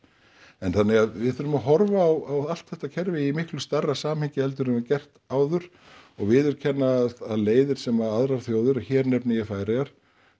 en þannig að við þurfum að horfa á allt þetta kerfi í miklu stærra samhengi heldur en við höfum gert áður og viðurkenna að leiðir sem aðrar þjóðir og hér nefni ég Færeyjar